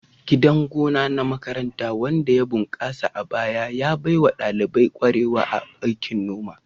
Gidan gona na makaranta wanda ya bunkasa a baya, ya baiwa ɗalibai kwarewa a aikin noma.